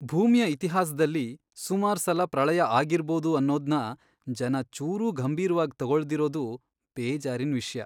ಭೂಮಿಯ ಇತಿಹಾಸ್ದಲ್ಲಿ ಸುಮಾರ್ಸಲ ಪ್ರಳಯ ಆಗಿರ್ಬೋದು ಅನ್ನೋದ್ನ ಜನ ಚೂರೂ ಗಂಭೀರ್ವಾಗ್ ತಗೊಳ್ದಿರೋದು ಬೇಜಾರಿನ್ ವಿಷ್ಯ.